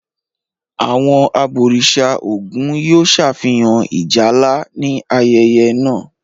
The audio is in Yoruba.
Àwọn àbòrìṣà Ògùn yóò ṣàfihàn Ìjálá ní ayẹyẹ náà.